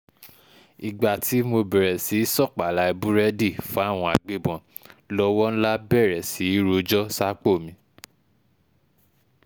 ìgbà tí mo bẹ̀rẹ̀ sí í sọ́páláì búrẹ́dì fáwọn agbébọn lọ́wọ́ ńlá bẹ̀rẹ̀ sí í rojọ́ sápò mi